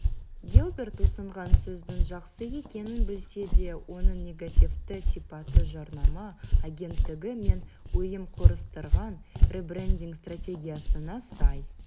гилберт ұсынған сөздің жақсы екенін білсе де оның негативті сипаты жарнама агенттігі мен ұйым құрастырған ребрендинг стратегиясына сай